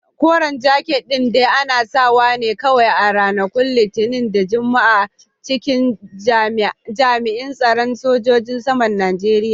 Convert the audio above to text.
Koren jaket din dai ana sawa ne kawai a ranakun Litinin da Juma'a a cikin jami'in tsaron sojojin saman Najeriya.